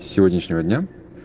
с сегодняшнего дня